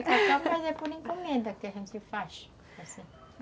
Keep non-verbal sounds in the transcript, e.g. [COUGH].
[LAUGHS] É o tacacá, mas é por encomenda que a gente faz, assim [LAUGHS]